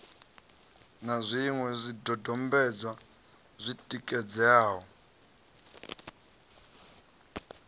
na zwiṅwe zwidodombedzwa zwi tikedzaho